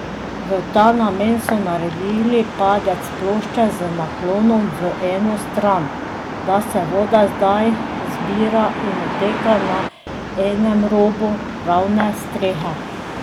V ta namen so naredili padec plošče z naklonom v eno stran, da se voda zdaj zbira in odteka na enem robu ravne strehe.